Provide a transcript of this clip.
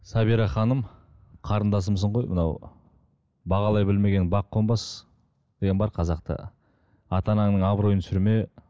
сабира ханым қарындасымсың мынау бағалай білмеген бақ қонбас деген бар қазақта ата анаңның абыройын түсірме